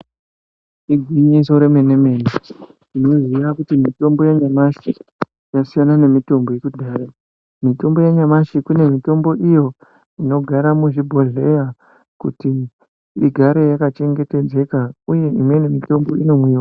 Igwinyiso remene-mene, tinoziya kuti mitombo yanyamashi yasiyana nemitombo yekudhaya. Mitombo yanyamashi iyi mitombo inogara muzvibhodhlera kuti igare yakachengetedzeka uye imweni mitombo inomwiwa.